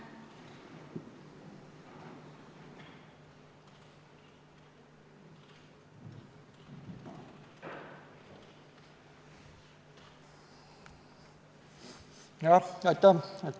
Aitäh!